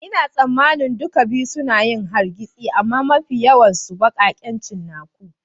Ina tsammanin duka biyu suna yin hargitsi amma mafi yawan su ne baƙaƙen cinnaku.